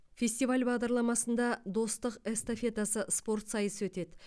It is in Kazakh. фестиваль бағдарламасында достық эстафетасы спорт сайысы өтеді